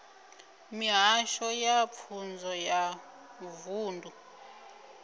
mihasho ya pfunzo ya vunḓu